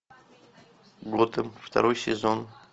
готэм второй сезон